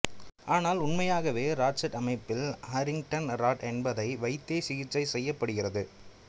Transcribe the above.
ஆனால் உண்மையாகவே ராட்சட் அமைப்பில் ஹாரிங்டன் ராட் என்பதை வைத்தே சிகிச்சை செய்யப்படுகிறது